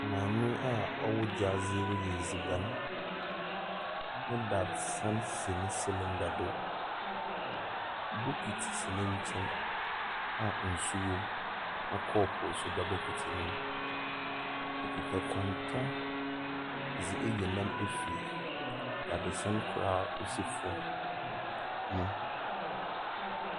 Maame a ɔwɔ gyaadze reyɛ edziban. Ne dadzesɛn si ne silinda do. Bokiti si n'enkyɛn a nsu wom,, na kɔɔpoo so da bokiti nemu. Okita kwanta dze eyi nam efi dadzesɛn kor a osi fom mu.